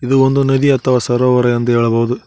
ಇದು ಒಂದು ನದಿ ಅಥವಾ ಸರೋವರ ಎಂದು ಹೇಳಬಹುದು.